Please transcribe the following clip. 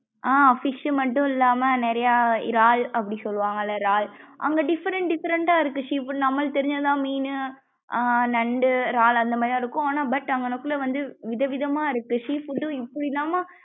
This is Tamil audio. ஆஹ் fish மட்டும் இல்லம்மா நிறையா இறால் அப்படி சொல்லுவாங்கள இறால் அங்க different different டா இருக்கு sea food நம்மள்ளுக்கு தெரிஞ்சதுலாம் மீனு ஆஹ் நண்டு இறால் அந்த மாரி தான் இருக்கும் ஆனா but அங்னக்குள்ள வந்து விதம் விதம் ஆஹ் இருக்கு sea food இப்படிலாம்மா?